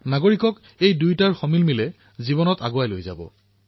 নাগৰিকৰ জীৱনত এই দুয়োটাৰ সামঞ্জস্যতাই দেশক আগুৱাই লৈ যাব